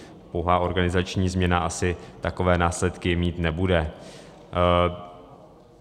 Pouhá organizační změna asi takové následky mít nebude.